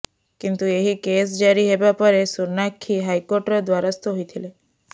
କିନ୍ତୁ ଏହି କେସ୍ ଜାରି ହେବା ପରେ ସୋନାକ୍ଷୀ ହାଇକୋର୍ଟର ଦ୍ବାରସ୍ଥ ହୋଇଥିଲେ